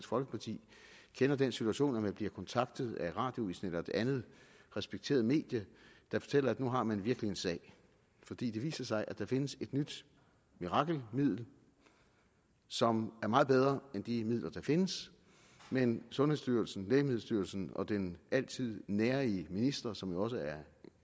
folkeparti kender den situation at man bliver kontaktet af radioavisen eller et andet respekteret medie der fortæller at nu har man virkelig en sag fordi det viser sig at der findes et nyt mirakelmiddel som er meget bedre end de midler der findes men sundhedsstyrelsen lægemiddelstyrelsen og den altid nærige minister som jo også er